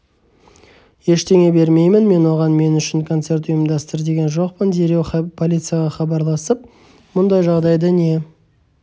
ештеңе бермеймін мен оған мен үшін концерт ұйымдастыр деген жоқпын дереу полицияға хабарласып мұндай жағдайда не